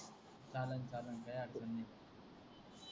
चालन चालन काही हरकत नाही,